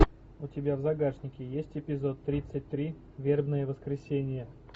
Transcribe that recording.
у тебя в загашнике есть эпизод тридцать три вербное воскресенье